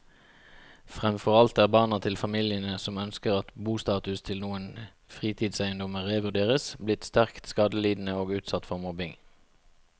Fremfor alt er barna til familiene som ønsker at bostatus til noen fritidseiendommer revurderes, blitt sterkt skadelidende og utsatt for mobbing.